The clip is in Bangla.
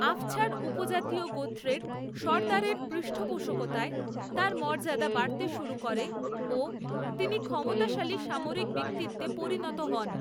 আফছার উপজাতীয় গোত্রের সর্দারের পৃষ্ঠপোষকতায় তার পদমর্যাদা বাড়তে শুরু করে ও তিনি ক্ষমতাশালী সামরিক ব্যক্তিত্ত্বে পরিণত হন।